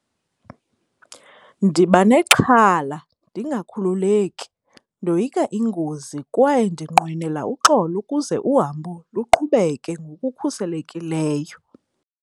Ndiba nexhala ndingakhululeki. Ndoyika ingozi kwaye ndinqwenela uxolo ukuze uhambo luqhubeke ngokukhuselekileyo.